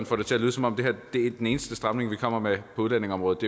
får det til at lyde som om det her er den eneste stramning vi kommer med på udlændingeområdet